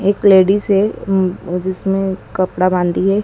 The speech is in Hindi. एक लेडिस है उम उ जिसने कपड़ा बाँधी है।